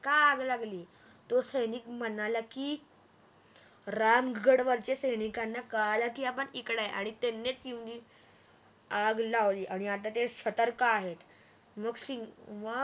का आग लागली तो सैनिक म्हणाला की राम गड वरच्या सैनिकांना कळाल की आपण इकडय आणि त्यानीच येऊन आग लावली आणि आता ते सतर्क आहेत मग